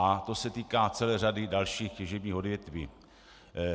A to se týká celé řady dalších těžebních odvětví.